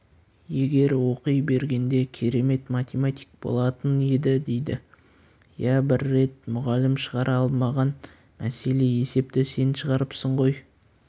егер оқи бергенде керемет математик болатын еді дейді иә бір рет мұғалім шығара алмаған мәселе есепті сен шығарыпсың ғой